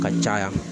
Ka caya